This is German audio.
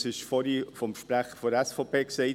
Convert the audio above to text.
Es wurde vorhin vom Sprecher der SVP gesagt: